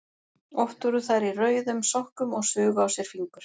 Oft voru þær í rauðum sokkum og sugu á sér fingur.